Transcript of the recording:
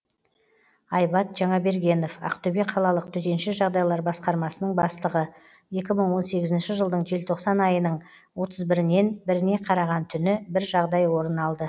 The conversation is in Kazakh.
айбат жаңабергенов ақтөбе қалалық төтенше жағдайлар басқармасының бастығы екі мың он сегізінші жылдың желтоқсан айының отыз бірінен біріне қараған түні бір жағдай орын алды